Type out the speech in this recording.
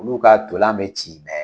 Olu ka tolan be ci ɛ